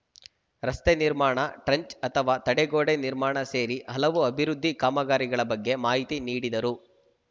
ರಸ್ತೆ ನಿರ್ಮಾಣ ಟ್ರಂಚ್‌ ಅಥವಾ ತಡೆಗೋಡೆ ನಿರ್ಮಾಣ ಸೇರಿ ಹಲವು ಅಭಿವೃದ್ದಿ ಕಾಮಗಾರಿಗಳ ಬಗ್ಗೆ ಮಾಹಿತಿ ನೀಡಿದರು